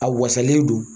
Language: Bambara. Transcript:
A wasalen don